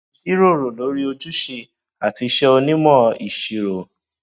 jíròrò lórí ojúṣe àti iṣẹ onímọ ìṣirò